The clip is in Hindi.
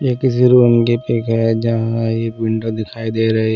ये किसी रूम की पिक है जहाँ ये विंडो दिखाई दे रही है।